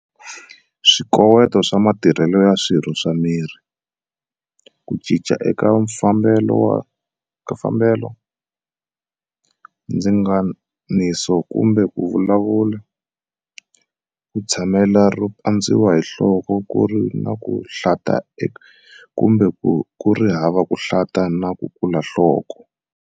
Swikoweto swa matirhelo ya swirho swa miri, ku cinca eka mafambelo, ndzinganiso kumbe ku vulavula, ku tshamela ro pandziwa hi nhloko ku ri na ku hlanta kumbe ku ri hava ku hlanta na ku kula nhloko.